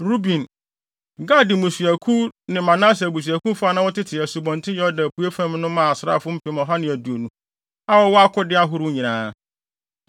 Ruben, Gad mmusuakuw ne Manase abusuakuw fa a na wɔtete Asubɔnten Yordan apuei fam no maa asraafo mpem ɔha ne aduonu (120,000) a wɔwɔ akode ahorow nyinaa.